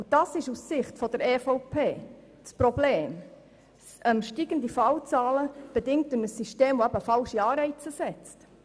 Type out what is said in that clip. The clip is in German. Und das ist aus Sicht der EVP das Problem, nämlich steigende Fallzahlen, bedingt durch ein System, welches falsche Anreiz setzt.